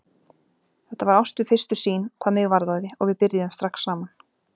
Þetta var ást við fyrstu sýn, hvað mig varðaði, og við byrjuðum strax saman.